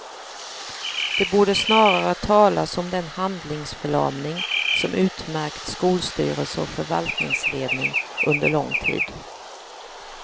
Det borde snarare talas om den handlingsförlamning som utmärkt skolstyrelse och förvaltningsledning under lång tid.